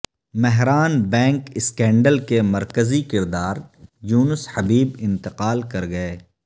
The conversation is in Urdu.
مہران بینک اسکینڈل کے مرکزی کردار یونس حبیب انتقال کر گئے